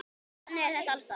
Þannig er þetta alls staðar.